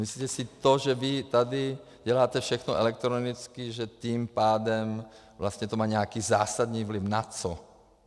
Myslíte si, to, že vy tady děláte všechno elektronicky, že tím pádem vlastně to má nějaký zásadní vliv - na co?